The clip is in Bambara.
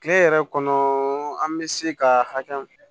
Kile yɛrɛ kɔnɔ an be se ka hakɛ